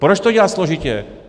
Proč to dělat složitě?